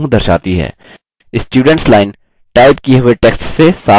students line type किये हुए text से साफ़ हो गयी है